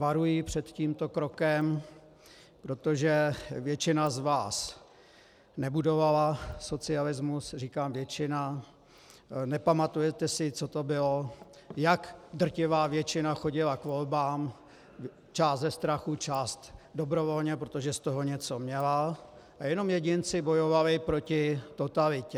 Varuji před tímto krokem, protože většina z vás nebudovala socialismus, říkám většina, nepamatujete si, co to bylo, jak drtivá většina chodila k volbám, část ze strachu, část dobrovolně, protože z toho něco měla, a jenom jedinci bojovali proti totalitě.